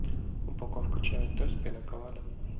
упаковка чая тесс пина колада